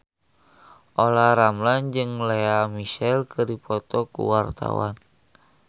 Olla Ramlan jeung Lea Michele keur dipoto ku wartawan